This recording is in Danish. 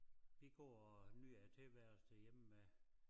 Vi går og nyder æ tilværelse derhjemme med